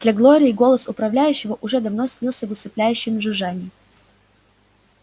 для глории голос управляющего уже давно слился в усыпляющее жужжание